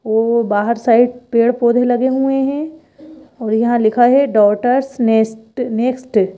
वो बाहर साइड पेड़-पौधे लगे हुए हैं और यहां लिखा है डॉटर्स नेस्ट नेक्स्ट --